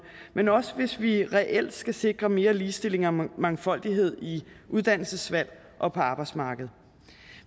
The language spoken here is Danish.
men også hvis vi reelt skal sikre mere ligestilling og mangfoldighed i uddannelsesvalg og på arbejdsmarkedet